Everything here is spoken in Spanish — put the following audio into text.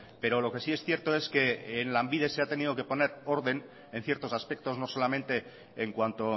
pero lo que sí es cierto es que en lanbide se ha tenido que poner orden en ciertos aspectos no solamente en cuanto